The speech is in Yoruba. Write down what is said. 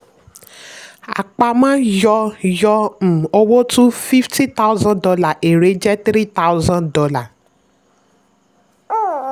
àpamọ́ yọ yọ um owó tú fifty thousand dolar; èrè jẹ́ three thousand dolar.